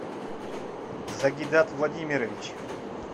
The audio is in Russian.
загидат владимирович